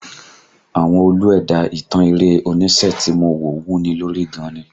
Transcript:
Àwọn Olú ẹ̀dá ìtàn eré onísẹ́ tí mo wò wuni lórí gan ni